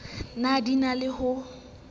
ne di na le ho